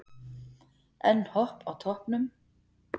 Enn Hopp á toppnum